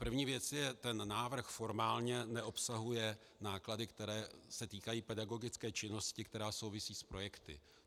První věc je - ten návrh formálně neobsahuje náklady, které se týkají pedagogické činnosti, která souvisí s projekty.